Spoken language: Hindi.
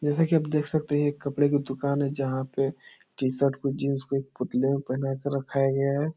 जैसा की आप देख सकते है ये एक कपड़े की दूकान है जहाँ पे टी-शर्ट को जीन्स को एक पुतले को पहनाके रखाया गया है ।